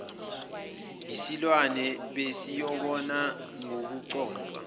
yisilwane besiyobona ngokuconsa